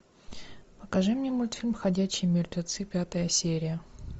покажи мне мультфильм ходячие мертвецы пятая серия